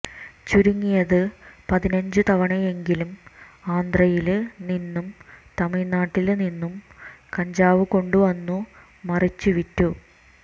ചുരുങ്ങിയത് പതിനഞ്ചു തവണയെങ്കിലും ആന്ധ്രയില് നിന്നും തമിഴ്നാട്ടില് നിന്നും കഞ്ചാവു കൊണ്ടുവന്നു മറിച്ചുവിറ്റു